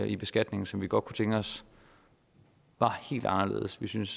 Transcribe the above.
i beskatningen som vi godt kunne tænke os var helt anderledes vi synes